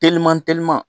Teliman teliman